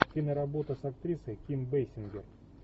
киноработа с актрисой ким бейсингер